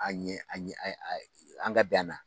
A ɲɛ a ɲɛ ɛ ɛ an ga bɛn ana